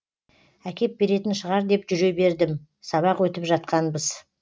әкеп беретін шығар деп жүре бердім сабақ өтіп жатқанбыз